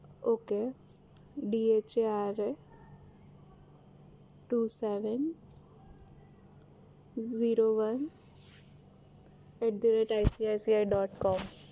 okay dhara two seven zero one atICICIdot com